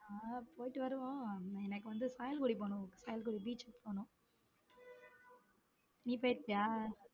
ஹம் போயிட்டு வருவோம் எனக்கு வந்த beach கு போகணும நீ போய் இருக்கியா.